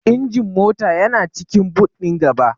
Injin mota yana cikin boot ɗin gaba.